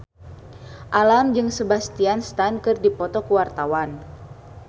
Alam jeung Sebastian Stan keur dipoto ku wartawan